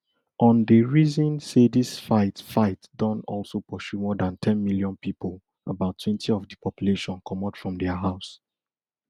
un dey reason say dis fight fight don also pursue more dan ten million pipo about twenty of di population comot from dia house